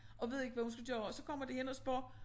Og ved ikke hvad hun skal gøre og så kommer de hen og spørger